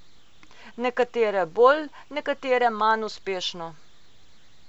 Nekatere bolj, nekatere manj uspešno.